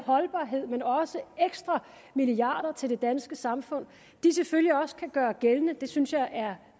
holdbarhed men også ekstra milliarder til det danske samfund selvfølgelig også kan gøre gældende det synes jeg er